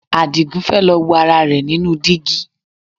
Àdìgún fẹ́ lọ wo ara rẹ̀ nínú dígí